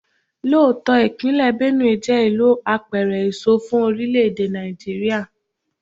Lóòótọ́, ìpínlè Benue jẹ́ ìlú apẹ̀rẹ̀ èso fún orílè-èdè Nàìjíríà.